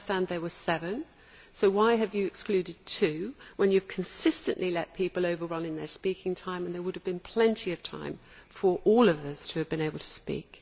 I understand there were seven so why have you excluded two when you have consistently let people overrun their speaking time and there would have been plenty of time for all of us to have been able to speak?